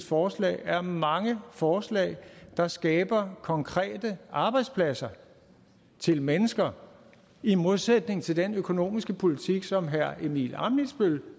forslag er mange forslag der skaber konkrete arbejdspladser til mennesker i modsætning til den økonomiske politik som herre simon emil ammitzbøll